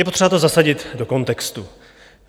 Je potřeba to zasadit do kontextu.